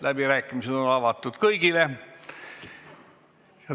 Läbirääkimised on avatud kõigile.